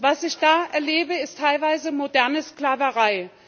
Was ich da erlebe, ist teilweise moderne Sklaverei.